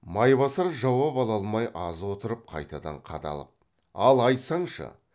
майбасар жауап ала алмай аз отырып қайтадан қадалып ал айтсаңшы